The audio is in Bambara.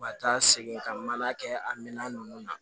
Ka taa segin ka na kɛ a minɛn ninnu na